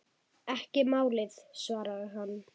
Ekki málið, svaraði hann.